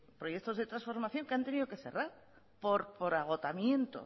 proyectos de transformación que han tenido que cerrar por agotamiento